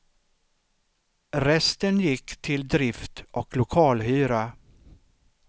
Resten gick till drift och lokalhyra.